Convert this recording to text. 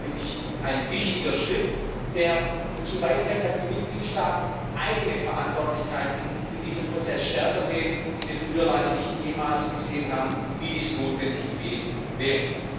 Das ist ein wichtiger Schritt, der dazu beiträgt, dass die Mitgliedstaaten eigene Verantwortlichkeiten in diesem Prozess stärker sehen, die sie früher leider nicht in dem Maße gesehen haben, wie dies notwendig gewesen wäre.